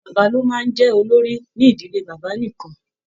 Bàbá lo máa n jẹ olórí n'ídílé bàbá nìkan.